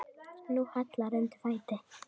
Nú hallar undan fæti.